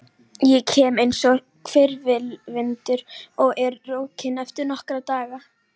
Ég kem einsog hvirfilvindur og er rokinn eftir nokkra daga.